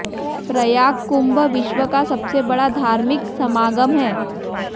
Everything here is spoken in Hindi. प्रयाग कुंभ विश्व का सबसे बड़ा धार्मिक समागम है